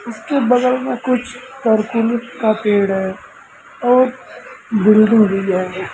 उसके बगल में कुछ का पेड़ है और बिल्डिंग भी है।